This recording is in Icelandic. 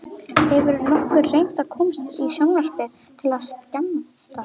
Hefurðu nokkuð reynt að komast í sjónvarpið til að skemmta?